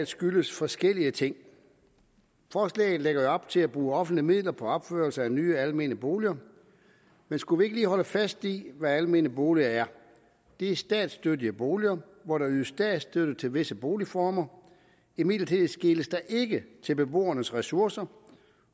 skyldes forskellige ting forslaget lægger jo op til at bruge offentlige midler på opførelse af nye almene boliger men skulle vi ikke lige holde fast i hvad almene boliger er det er statsstøttede boliger hvor der ydes statsstøtte til visse boligformer imidlertid skeles der ikke til beboernes ressourcer